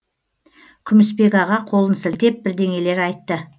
күмісбек аға қолын сілтеп бірдеңелер айтты